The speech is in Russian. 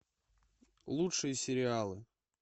лучшие сериалы